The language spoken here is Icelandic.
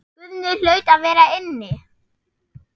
Guðni hlaut að vera inni.